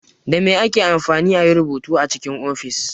Dame ake amfani ayi rubutu a cikin ofis?